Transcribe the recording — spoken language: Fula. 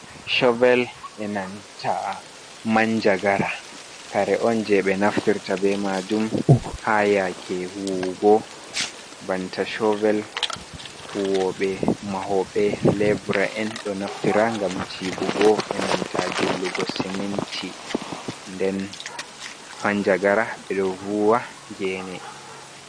Shovel e nanta manjagara kare’on je ɓee naftirta be majum ha yake huwugo, banta shovel huwoɓe mahoɓe lebura’en ɗo naftira ngam jiɓugo, e nanta jillugo siminti nden manjagara ɓeɗo vuwa gene.